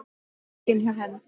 Pokinn hjá Hend